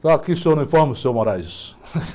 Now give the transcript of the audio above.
Só aqui o senhor não informa o senhor.